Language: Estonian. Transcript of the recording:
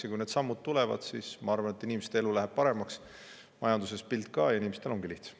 Ja kui need sammud tulevad, siis, ma arvan, inimeste elu läheb paremaks, majanduse pilt ka ja inimestel ongi lihtsam.